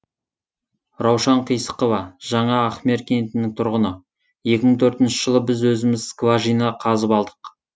раушан қисықова жаңа ахмер кентінің тұрғыны екі мың он төртінші жылы біз өзіміз скважина қазып алдық